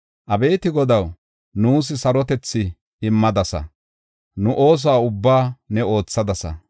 Abeeti Godaw, nuus sarotethi immadasa; nu ooso ubbaa ne oothadasa.